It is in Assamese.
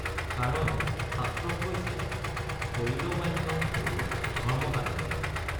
কাৰণ শাস্ত্ৰত কৈছে শৰীৰমাদ্যং খলু ধৰ্মসাধনম্।